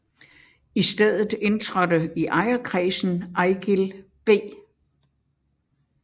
I stedet indtrådte i ejerkredsen Eigild B